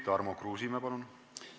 Tarmo Kruusimäe, palun!